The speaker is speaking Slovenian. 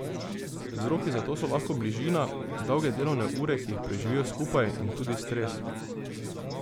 Vzroki za to so lahko bližina, dolge delovne ure, ki jih preživijo skupaj, in tudi stres.